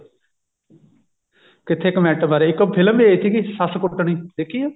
ਇੱਥੇ comment ਬਾਰੇ ਇੱਕ ਉਹ ਫਿਲਮ ਵੀ ਆਈ ਸੀਗੀ ਸੱਸ ਕੁੱਟਣੀ ਦੇਖੀ ਆ